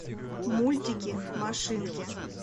мультики машинки